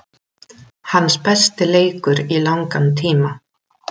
Hans besti leikur í langan tíma.